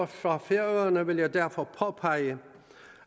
for færøerne vil jeg derfor påpege